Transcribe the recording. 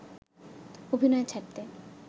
অভিনয় ছাড়তে